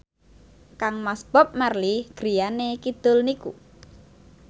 kangmas Bob Marley griyane kidul niku